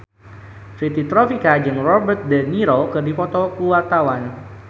Fitri Tropika jeung Robert de Niro keur dipoto ku wartawan